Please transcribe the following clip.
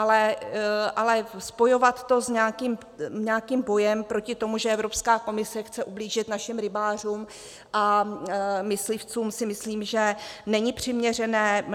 Ale spojovat to s nějakým bojem proti tomu, že Evropská komise chce ublížit našim rybářům a myslivcům, si myslím, že není přiměřené.